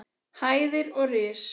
hæðir og ris.